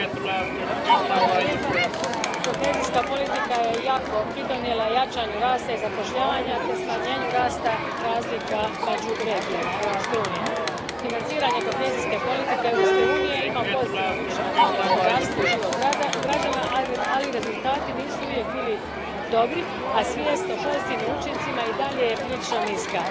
Gospodine predsjedniče, kohezijska politika je jako pridonijela jačanju rasta i zapošljavanja, te smanjenju rasta razlika među regijama Europske unije. Financiranje kohezijske politike Europske unije ima pozitivan učinak na gospodarstvo i život građana, ali rezultati nisu uvijek bili dobri, a svijest o pozitivnim učincima i dalje je prilično niska.